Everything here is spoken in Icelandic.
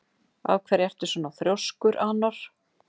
Af hverju ertu svona þrjóskur, Anor?